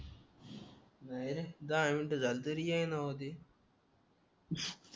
नाय रे दहा मिनिटे झाले तरी येईना हो ते